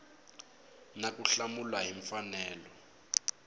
na ku hlamula hi mfanelo